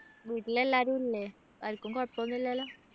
വീട്ടിൽ എല്ലാരും ഇല്ലേ ആരിക്കും കുഴപ്പൊന്നും ഇല്ലല്ലാ